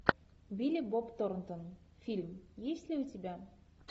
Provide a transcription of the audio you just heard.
билли боб торнтон фильм есть ли у тебя